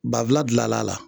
Bafula gilan la a la